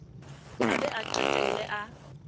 a be a qetelle a